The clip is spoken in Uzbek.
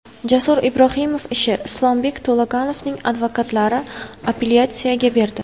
Jasur Ibrohimov ishi: Islombek To‘laganovning advokatlari apellyatsiyaga berdi.